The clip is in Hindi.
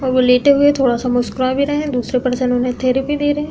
और वो लेटे हुए हैं थोड़ा सा मुस्कुरा भी रहे हैं दूसरे पर्सन उन्हें थेरेपी दे रहे है।